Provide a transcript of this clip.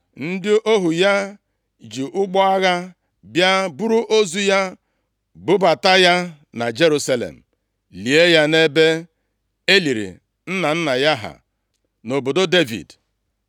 Ndị ohu ya ji ụgbọ agha bịa buru ozu ya bubata ya na Jerusalem, lie ya nʼebe e liri nna nna ya ha, nʼobodo Devid.